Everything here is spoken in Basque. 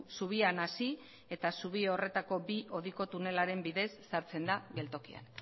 zubian hasi eta zubi horretako bi hodiko tunelaren bidez sartzen da geltokian